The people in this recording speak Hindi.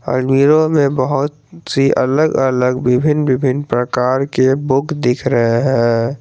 में बहोत सी अलग अलग विभिन्न विभिन्न प्रकार के बुक दिख रहे हैं।